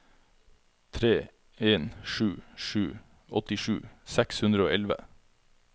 tre en sju sju åttisju seks hundre og elleve